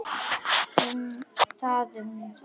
Það um það.